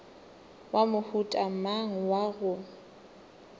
wa mohuta mang wa go